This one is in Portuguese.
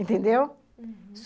Entendeu? Uhum.